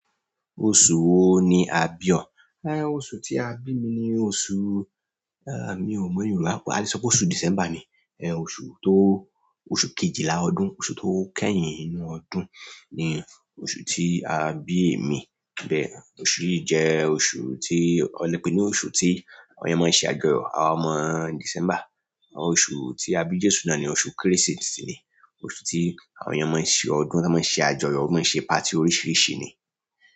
Oṣù wo ni a bí ọ? Oṣù tí a bí mi ni oṣù, eh, mi ò mọ Yorùbá púpọ̀. A lè sọ pé oṣù December ni. Eh, oṣù tó, oṣù kejìlá ọdún, oṣù tó kẹ́yìn nínú ọdún ni oṣù tí a bí èmi. Bẹ́ẹ̀, oṣù yìí jẹ́ oṣù tí wọ́n lè pè ní oṣù tí àwọn ọmọ ṣe àjọyọ̀, àwọn ọmọ December. Oṣù tí a bí Jésù náà ni oṣù Kérésìmesì ni, oṣù tí àwọn èèyàn máa ń ṣe ọdún, máa ń ṣe àjọyọ̀, wọ́n máa ń ṣe party oríṣìíríṣìí ni.